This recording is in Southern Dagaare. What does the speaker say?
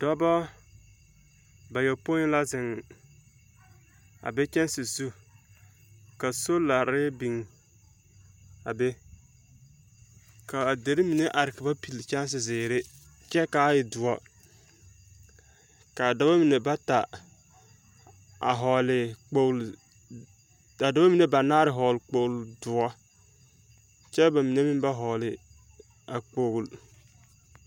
Dͻbͻ bayopoi la zeŋ, a be kyԑnse zu. Ka solare biŋ a be ka a deri mine are kaba pilli kyԑnse zeԑ kyԑ kaa e dͻre. kaa dͻbͻ mine bata a vͻͻle kpooli, kaa dͻbͻ mine banaare vͻgele kpooli dõͻ kyԑ ba mine meŋ ba vͻͻle a kpooli.